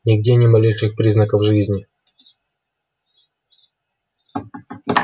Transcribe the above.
нигде ни малейших признаков жизни